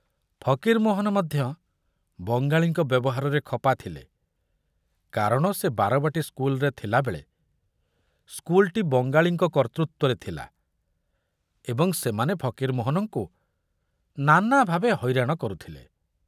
ଫକୀରମୋହନ ମଧ୍ୟ ବଙ୍ଗାଳୀଙ୍କ ବ୍ୟବହାରରେ ଖପା ଥିଲେ କାରଣ ସେ ବାରବାଟୀ ସ୍କୁଲରେ ଥିଲାବେଳେ ସ୍କୁଲଟି ବଙ୍ଗାଳୀଙ୍କ କର୍ତ୍ତୃତ୍ବରେ ଥିଲା ଏବଂ ସେମାନେ ଫକୀରମୋହନଙ୍କୁ ନାନା ଭାବେ ହଇରାଣ କରୁଥିଲେ।